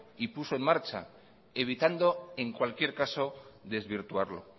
y puso en marcha evitando en cualquier caso desvirtuarlo